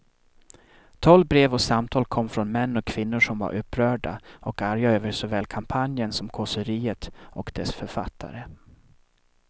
Tolv brev och samtal kom från män och kvinnor som var upprörda och arga över såväl kampanjen som kåseriet och dess författare.